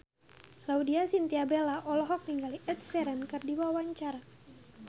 Laudya Chintya Bella olohok ningali Ed Sheeran keur diwawancara